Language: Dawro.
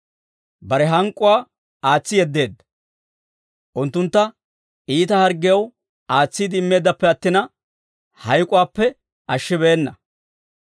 Bare hank'k'uwaa aatsi yeddeedda. Unttuntta iita harggiyaw aatsiide immeeddappe attina, hayk'k'uwaappe ashshibeenna.